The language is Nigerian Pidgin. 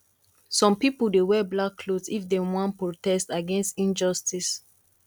some pipo dey wear black cloth if dem wan protest against injustice